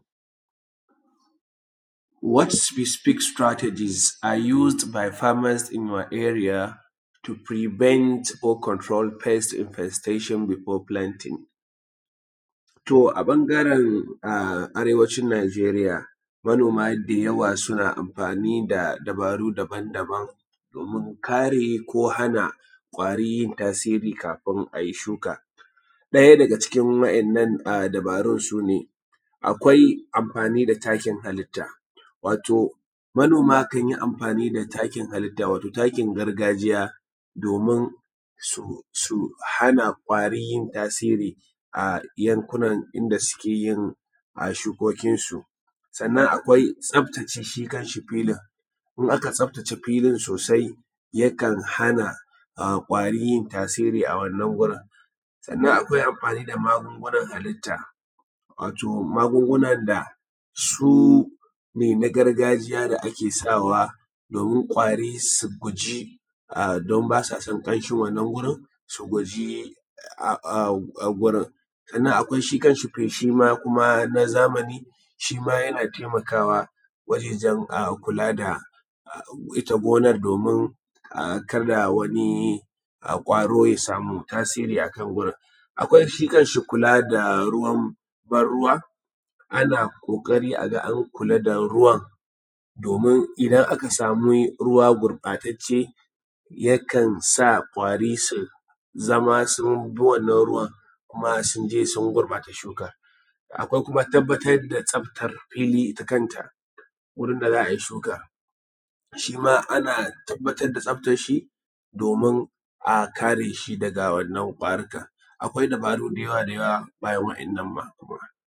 What specific strategies are used by a farmers in your area to prevent or control pest infestation before planting? To a ɓangaren arewacin Najeriya manoma da yawa suna amfani da dabaru daban daban don kare ko hana ƙwari tasiri kafin a yi shuka, ɗaya daga cikin wa'innan dubarun sune, akwai amfani da takin halitta wato manoma kan yi amfani da takin gargajiya domin su hana ƙwari yin tasiri a yankunan inda suke yin shukokin su. Sannan akwai tsaftace shi kan shi filin, in aka tsaftace filin sosai yana hana ƙwari yin tasiri a wurin. Sannan akwai amfani da magungunan halitta, wato magungunan da sune na gargajiya ne da ake sawa domin ƙwari su guji don ba sa son ƙamshin wannan gurin, su guji wurin. Sannan akwai shi kan shi feshi ma na zamani, shi ma yana taimaka wa wajejan kula da ita gonar domin kada wani ƙwaro ya samu tasiri a kan wurin. Akwai shi kan shi kula da ruwan ban ruwa ana ƙoƙari a ga an kula da ruwan domin idan aka samu ruwa gurɓatacce, yakan sa ƙwari su zama sun bi wannan ruwan kuma sun je sun gurɓata shukan. Akwai kuma tabbatar da tsaftar fili ita kanta, wurin da za a yi shuka, shi ma ana tabbatar da tsaftar shi domin a kare shi daga wannan ƙwarika. Akwai dabaru da yawa da yawa bayan wa'innan ma.